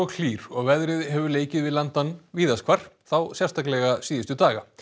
hlýr og veðrið hefur leikið við landann víðast hvar þá sérstaklega síðustu daga